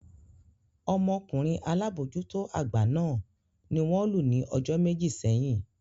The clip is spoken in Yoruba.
Ọmọkunrin alabojuto agba náà ni won lu ni ojo meji seyin.